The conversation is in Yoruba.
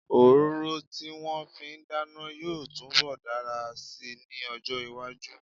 Òróró tí wọ́n fi ń dáná yóò túnbọ̀ dára si ní ọjọ́-iwájú.